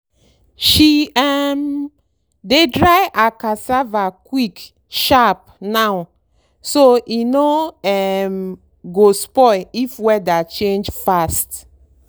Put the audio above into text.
she um dey dry her cassava quick sharp now so e no um go spoil if weather change fast.